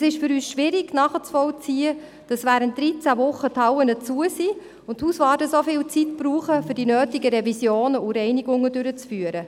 Es ist für uns schwierig nachzuvollziehen, dass die Hallen während dreizehn Wochen geschlossen sind und die Hauswarte so viel Zeit brauchen, um die notwendigen Revisionen und Reinigungen durchzuführen.